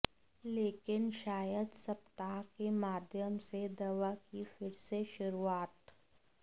लेकिन शायद सप्ताह के माध्यम से दवा की फिर से शुरूआत